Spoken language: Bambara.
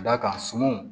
Ka d'a kan sumanw